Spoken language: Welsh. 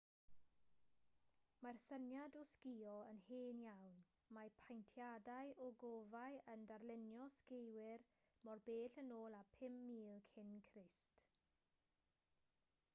mae'r syniad o sgïo yn hen iawn mae paentiadau ogofâu yn darlunio sgiwyr mor bell yn ôl â 5000 cyn crist